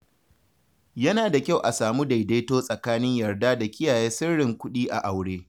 Yana da kyau a samu daidaito tsakanin yarda da kiyaye sirrin kuɗi a aure.